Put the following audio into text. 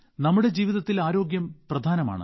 നമ്മുടെ ജീവിതത്തിൽ ആരോഗ്യം പ്രധാനമാണ്